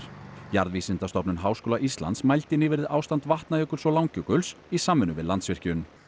jarðvísindastofnun Háskóla Íslands mældi nýverið ástand Vatnajökuls og Langjökuls í samvinnu við Landsvirkjun